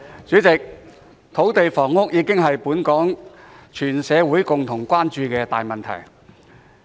主席，土地房屋已成為本港全社會共同關注的大問題。